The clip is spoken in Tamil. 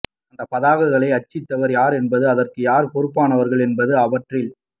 அந்தப் பதாதைகளை அச்சிட்டவர் யார் என்பதும் அதற்கு யார் பொறுப்பானவர்கள் என்பதும் அவற்றில்